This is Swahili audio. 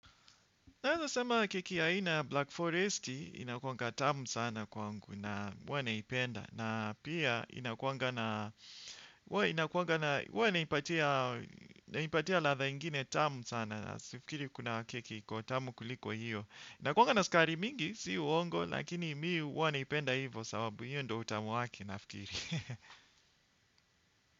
Naeza sema keki ya aina ya Black Forest inakuanga tamu sana kwangu na huwa naipenda. Na pia inakuanga huwa naipatia ladha ingine tamu sana sifkiri kuna keki iko tamu kuliko hiyo. Inakuanga na sukari mingi si uongo lakini mi huwa naipenda hivo sababu hio ndio utamu wake nafikiri.